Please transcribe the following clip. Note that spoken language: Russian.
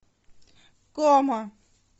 кома